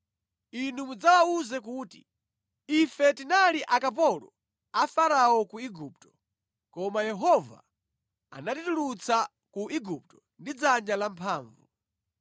Inu mudzawawuze kuti, “Ife tinali akapolo a Farao ku Igupto, koma Yehova anatitulutsa ku Igupto ndi dzanja lamphamvu.